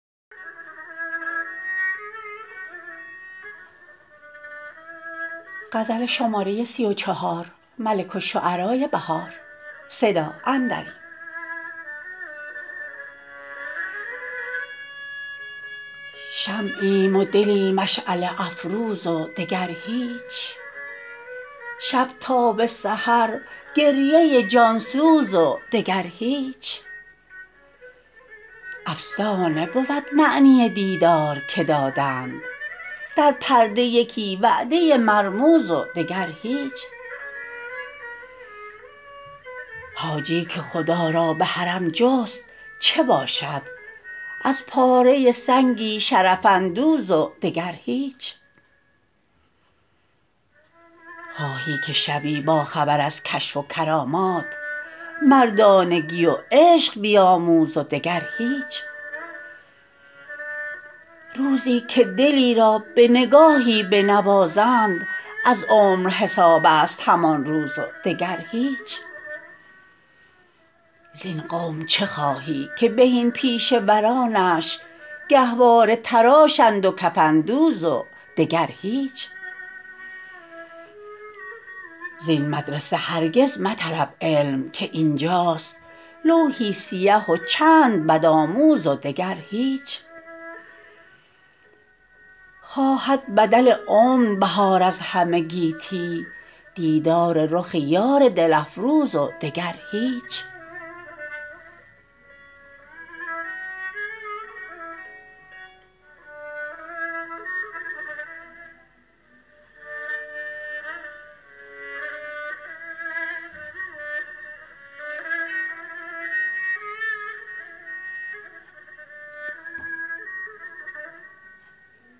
شمعیم و دلی مشعله افروز و دگر هیچ شب تا به سحر گریه جانسوز و دگر هیچ افسانه بود معنی دیدار که دادند در پرده یکی وعده مرموز و دگر هیچ حاجی که خدا را به حرم جست چه باشد از پاره سنگی شرف اندوز و دگر هیچ خواهی که شوی باخبر ازکشف و کرامات مردانگی و عشق بیاموز و دگر هیچ روزی که دلی را به نگاهی بنوازند از عمر حسابست همان روز و دگر هیچ زین قوم چه خواهی که بهین پیشه ورانش گهواره تراشند و کفن دوز و دگر هیچ زین مدرسه هرگز مطلب علم که اینجاست لوحی سیه و چند بدآموز و دگر هیچ خواهد بدل عمر بهار از همه گیتی دیدار رخ یار دل افروز و دگر هیچ